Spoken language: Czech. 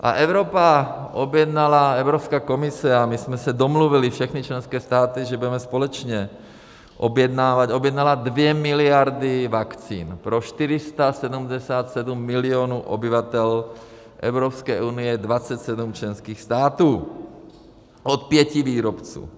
A Evropa objednala, Evropská komise, a my jsme se domluvili, všechny členské státy, že budeme společně objednávat, objednala 2 miliardy vakcín pro 477 milionů obyvatel Evropské unie, 27 členských států, od pěti výrobců.